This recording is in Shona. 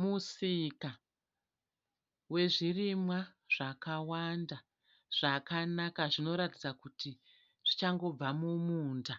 Musika wezvirimwa zvakawanda zvakanaka zvinoratidza kuti zvichangobva mumunda.